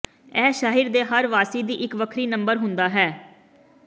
ਇਹ ਸ਼ਹਿਰ ਦੇ ਹਰ ਵਾਸੀ ਦੀ ਇੱਕ ਵੱਖਰੀ ਨੰਬਰ ਹੁੰਦਾ ਹੈ